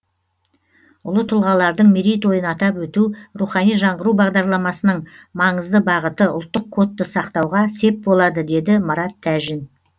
ұлы тұлғалардың мерейтойын атап өту рухани жаңғыру бағдарламасының маңызды бағыты ұлттық кодты сақтауға сеп болады деді марат тәжин